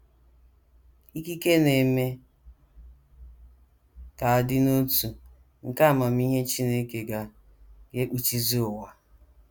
Ikike na - eme ka a dị n’otu nke amamihe Chineke ga ga - ekpuchizi ụwa.